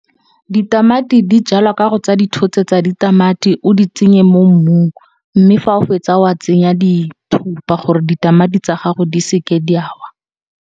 Ditamati di jalwa ka go tsa dithotse tsa ditamati o di tsenye mo mmung. Mme, fa o fetsa wa tsenya dithupa gore ditamati tsa gago di seke di ya wa.